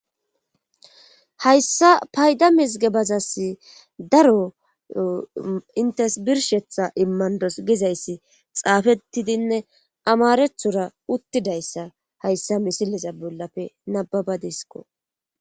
Hayssa payda mizigebazas daro intes birshetha immandos gizayssi xaafettidinne amarethora uttidayssa hayssa misileza bollafe nababadisko.